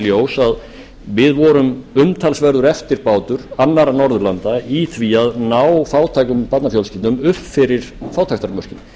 ljós að við vorum umtalsverður eftirbátur annarra norðurlanda í því að ná fátækum barnafjölskyldum upp fyrir fátæktarmörkin